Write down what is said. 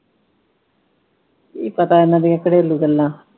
ਕੀ ਪਤਾ ਇਨ੍ਹਾਂ ਦੀਆਂ ਘਰੇਲੂ ਗੱਲਾਂ।